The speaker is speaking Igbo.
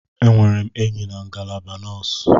Enwere m enyi na ngalaba nọọsụ.